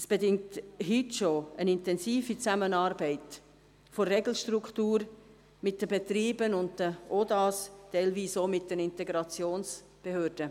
Dies bedingt heute schon eine intensive Zusammenarbeit der der Regelstruktur, mit den Betrieben und den Organisationen der Arbeitswelt (OdA), teilweise auch mit den Integrationsbehörden.